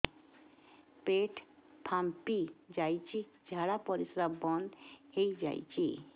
ପେଟ ଫାମ୍ପି ଯାଉଛି ଝାଡା ପରିଶ୍ରା ବନ୍ଦ ହେଇ ଯାଉଛି